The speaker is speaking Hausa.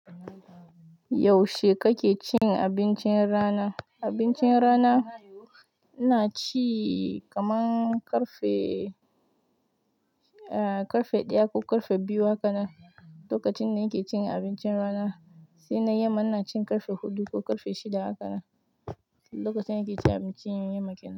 Yaushe kake cin abincin rana? Abincin rana, ina ci kaman ƙarfe, ƙarfe ɗaya ko ƙarfe biyu haka na, lokacin ne nake cin abincin rana. Sai na yamma ina cin ƙarfe huɗu ko ƙarfe shida haka nan, lokacin nake cin abincin yamma kenan.